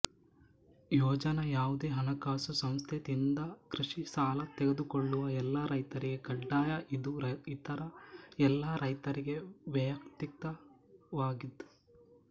ಯೋಜನ ಯಾವುದೇ ಹಣಕಾಸು ಸಂಸ್ಥೆತಿಂದ ಕೃಷಿ ಸಾಲ ತೆಗೆದುಕೊಳ್ಳುವ ಎಲ್ಲಾ ರೈತರಿಗೆ ಕಡ್ಡಾಯ ಇದು ಇತರ ಎಲ್ಲಾ ರೈತರಿಗೆ ವೈಯಕ್ತಿಕವಾಗಿದ್ದು